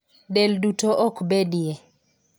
Del duto ok bedie .